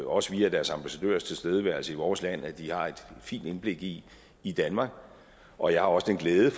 også via deres ambassadørers tilstedeværelse i vores land at de har et fint indblik i i danmark og jeg har også den glæde at